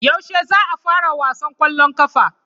Yaushe za a fara wasan kwallon kafa.